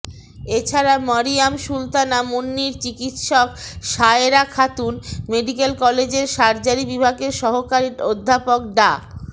এছাড়া মরিয়ম সুলতানা মুন্নীর চিকিৎসক সায়েরা খাতুন মেডিকেল কলেজের সার্জারি বিভাগের সহকারী অধ্যাপক ডা